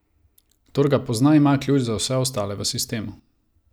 Kdor ga pozna, ima ključ za vse ostale v sistemu.